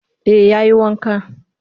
Eh ya yi wanka